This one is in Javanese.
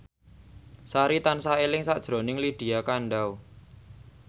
Sari tansah eling sakjroning Lydia Kandou